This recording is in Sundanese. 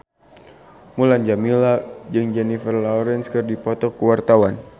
Mulan Jameela jeung Jennifer Lawrence keur dipoto ku wartawan